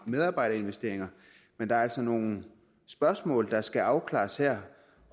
medarbejderinvesteringer men der er altså nogle spørgsmål der skal afklares her